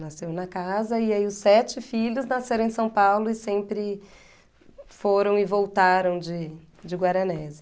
Nasceu na casa e aí os sete filhos nasceram em São Paulo e sempre foram e voltaram de de Guaranésia.